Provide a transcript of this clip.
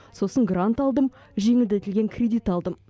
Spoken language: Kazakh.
сосын грант алдым жеңілдетілген кредит алдым